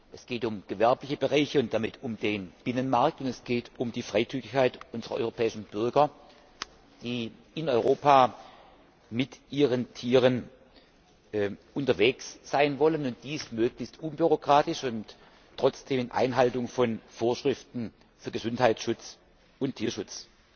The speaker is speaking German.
Es geht um gewerbliche Bereiche und damit um den Binnenmarkt, und es geht um die Freizügigkeit unserer europäischen Bürger, die in Europa mit ihren Tieren unterwegs sein wollen, und dies möglichst unbürokratisch und trotzdem in Einhaltung von Vorschriften für Gesundheitsschutz und Tierschutz.